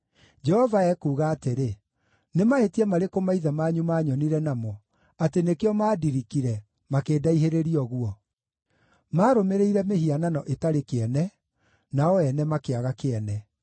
Jehova ekuuga atĩrĩ: “Nĩ mahĩtia marĩkũ maithe manyu maanyonire namo, atĩ nĩkĩo maandirikire, makĩndaihĩrĩria ũguo? Maarũmĩrĩire mĩhianano ĩtarĩ kĩene, nao ene makĩaga kĩene.